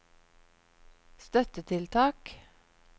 støttetiltak